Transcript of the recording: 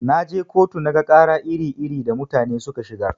Naje kotu naga ƙara iri-iri da mutane suka shigar.